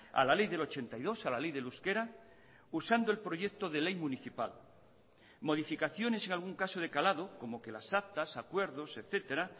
a la ley del ochenta y dos a la ley del euskera usando el proyecto de ley municipal modificaciones en algún caso de calado como que las actas acuerdos etcétera